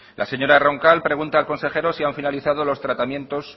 la señora roncal pregunta al consejero si han finalizado los tratamientos